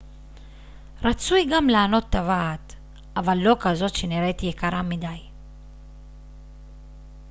רצוי גם לענוד טבעת אבל לא כזאת שנראית יקרה מדי